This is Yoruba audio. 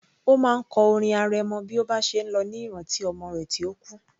Ó máa ń kọ orin arẹmọ bí ó bá ṣe ń lọ ní ìrántí ọmọ rẹ̀ tí ó kú